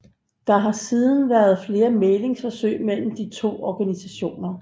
Der har siden været flere mæglingsforsøg mellem de to organisationer